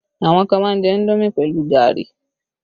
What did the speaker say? Àwọn kan má ń jẹ indomi pẹ̀lú gari